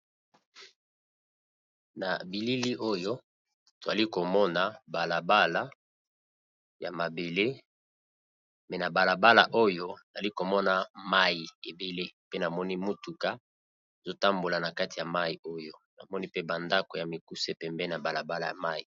na bilili oyo toali komona balabala ya mabele me na balabala oyo ali komona mai ebele pe namoni mutuka ezotambola na kati ya mai oyo namoni pe bandako ya mikuse pembe na balabala ya mai